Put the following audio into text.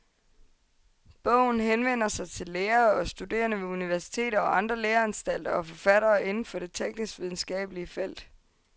Bogen henvender sig til lærere og studerende ved universiteter og andre læreanstalter og forfattere inden for det tekniskvidenskabelige felt.